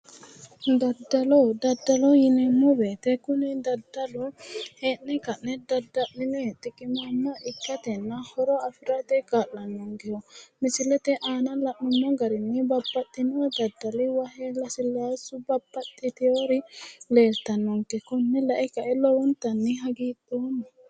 daddalo daddalo yineemmo wote kuni daddalu heenne kaine dadda'line xiqimaama ikkatenna hoho afirate kaa'lannonkeho misilete aana la'neemmo garinni babbaxino daddali wahe lasilassubba baxxiteewori leeltannonke konne lae kae lowontanni hagiidhoomma.